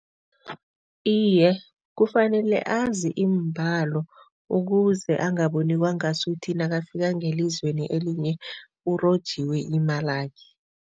Iye, kufanele azi iimbalo ukuze angaboni kwangasuthi nakafika ngelizweni elinye urojiwe imalakhe.